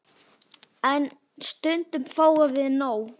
En stundum fáum við nóg.